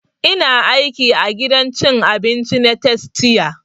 Ina aiki a gidan cin abinci na tastia